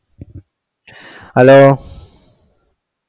Hello